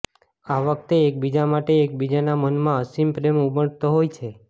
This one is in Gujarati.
આ વખતે એકબીજા માટે એકબીજાના મનમાં અસીમ પ્રેમ ઉમટતો હોય છે